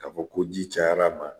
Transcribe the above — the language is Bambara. Ka fɔ ko ji cayar'a ma